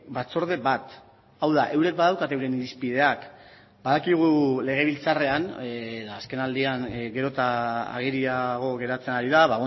batzorde bat hau da eurek badaukate euren irizpideak badakigu legebiltzarrean azkenaldian gero eta ageriago geratzen ari da